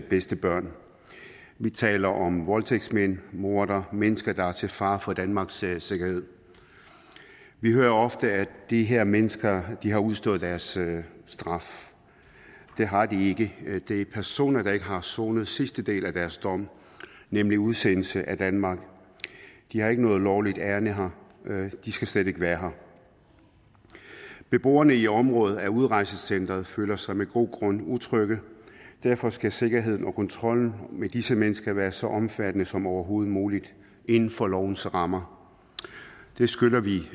bedste børn vi taler om voldtægtsmænd mordere og mennesker der er til fare for danmarks sikkerhed vi hører ofte at de her mennesker har udstået deres straf det har de ikke det er personer der ikke har afsonet den sidste del af deres dom nemlig udsendelse af danmark de har ikke noget lovligt ærinde her de skal slet ikke være her beboerne i området ved udrejsecenteret føler sig med god grund utrygge derfor skal sikkerheden og kontrollen med disse mennesker være så omfattende som overhovedet muligt inden for lovens rammer det skylder vi